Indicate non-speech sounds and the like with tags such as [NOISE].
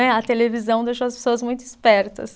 [UNINTELLIGIBLE] A televisão deixou as pessoas muito espertas.